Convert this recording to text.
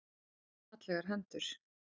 Hefur fallegar hendur.